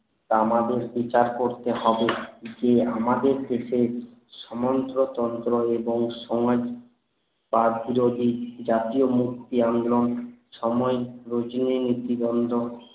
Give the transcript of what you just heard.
আমাদের বিচার করতে হবে যে আমাদের থেকে সমন্ত্রতন্ত্র এবং সমাজ বাদ বিরোধী জাতীয় মুক্তি আন্দোলন সময়ে রোজেই ইতিবান্ধক